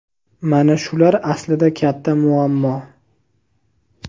Mana shular aslida katta muammo.